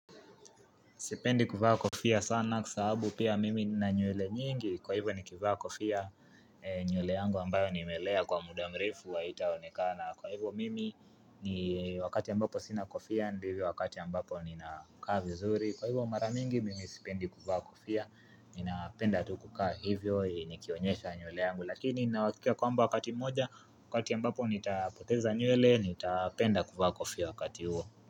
Sipendi kuvaa kofia sana kwasababu pia mimi nina nywele nyingi. Kwa hivyo nikivaa kofia nywele yangu ambayo nimelea kwa mudamrefu haitaonekana. Kwa hivyo mimi ni wakati ambapo sina kofiaa, ndivyo wakati ambapo nina kaa vizuri. Kwa hivyo maramingi mimi sipendi kuvaa kofia. Nina penda tukukaa hivyo ili nikionyesha nywele yangu. Lakini ninauhakika kwamba wakati mmoja, wakati ambapo nitapoteza nywele, nitapenda kuvaa kofia wakati huo.